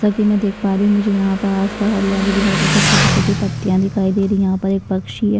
जैसा की मै देख पा रही हु मुझे यहाँ प आस पास हरियाली दिखाई सबसे छोटी छोटी पत्तियाँ दिखाई दे रही है यहाँ पर एक पक्षी है।